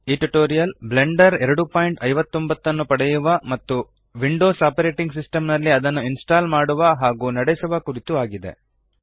ಈ tutorial Blender 259 ನ್ನು ಪಡೆಯುವ ಮತ್ತು ವಿಂಡೋಸ್ ಆಪರೇಟಿಂಗ್ ಸಿಸ್ಟೆಮ್ ನಲ್ಲಿ ಅದನ್ನು ಇನ್ಸ್ಟಾಲ್ ಮಾಡುವ ಹಾಗೂ ನಡೆಸುವ ಕುರಿತು ಇದೆ